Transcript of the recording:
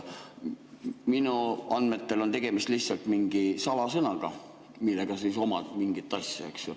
Minu andmetel on tegemist lihtsalt mingi salasõnaga, mille abil sa omad mingit asja, eks ju.